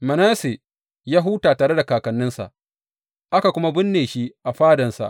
Manasse ya huta tare da kakanninsa, aka kuma binne shi a fadansa.